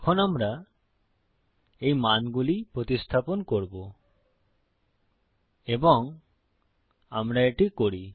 এখন আমরা এই মানগুলি প্রতিস্থাপন করবো এবং আমরা এটি করি